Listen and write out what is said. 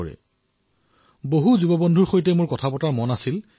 মই ভাবিছিলো যে অধিক সংখ্যক যুৱ বন্ধুৰ সৈতে কথা পতাৰ সুযোগ লাভ কৰিম